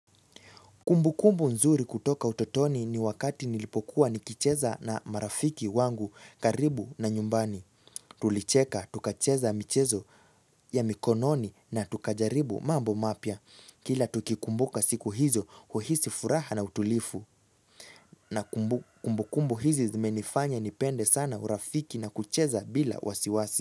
Kumbu kumbu nzuri kutoka utotoni ni wakati nilipokuwa nikicheza na marafiki wangu karibu na nyumbani. Tulicheka, tukacheza michezo ya mikononi na tukajaribu mambo mapya. Kila tukikumbuka siku hizo, uhisi furaha na utulivu. Na kumbukumbu hizi zimenifanya nipende sana urafiki na kucheza bila wasiwasi.